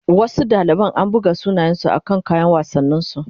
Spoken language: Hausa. Wasu dalibai an buga sunansu a can kayan wassanin su